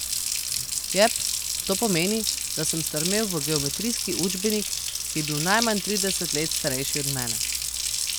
Jep, to pomeni, da sem strmel v geometrijski učbenik, ki je bil najmanj trideset let starejši od mene.